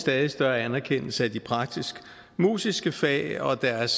større anerkendelse af de praktisk musiske fag og deres